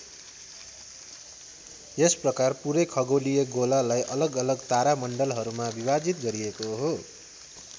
यस प्रकार पूरै खगोलीय गोलालाई अलग अलग तारामण्डलहरूमा विभाजित गरिएको हो।